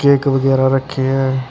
Cake ਵਗੈਰਾ ਰੱਖੇ ਐਂ।